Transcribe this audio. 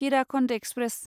Hirakhand express